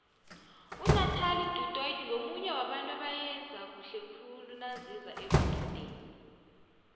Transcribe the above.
unathelie du toit ngomunye wabantu abayenza khuhle khule naziza ekududeni